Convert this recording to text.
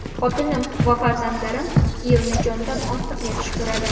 Xotinim va farzandlarim Kiyevni jondan ortiq yaxshi ko‘radi.